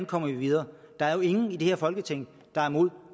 kommer videre der er jo ingen i det her folketing der er imod